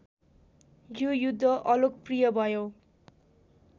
यो युद्ध अलोकप्रिय भयो